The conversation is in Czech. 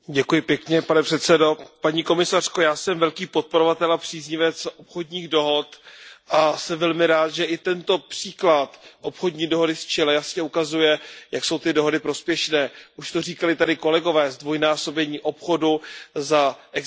Paní komisařko, já jsem velký podporovatel a příznivec obchodních dohod a jsem velmi rád, že i tento příklad obchodní dohody s Chile jasně ukazuje, jak jsou ty dohody prospěšné, už to říkali kolegové, zdvojnásobení obchodu za existence této smlouvy.